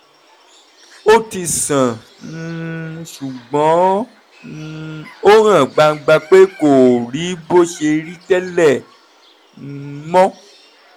ó ti sàn um ṣùgbọ́n um ó hàn gbangba pé kò rí bó ṣe rí tẹ́lẹ̀ um mọ́